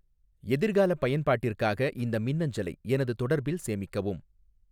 எதிர்கால பயன்பாட்டிற்காக இந்த மின்னஞ்சலை எனது தொடர்பில் சேமிக்கவும்